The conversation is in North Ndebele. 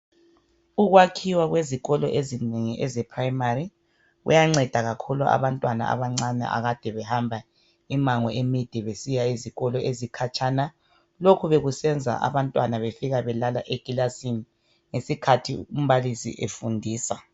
Ukwakhiwa kwezikolo ezinengi ezePrimary kuyanceda kakhulu abantwana abancane akade behamba imango emide besiya ezikolo ezikhatshana. Lokhu bekusenza abantwana befika belala ekilasini ngesikhathi umbalisi efundisa.